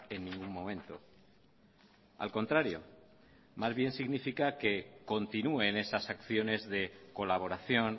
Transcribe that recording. en ningún momento al contrario más bien significa que continúe en esas acciones de colaboración